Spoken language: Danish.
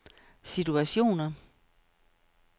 situationer